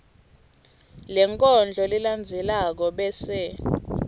lenkondlo lelandzelako bese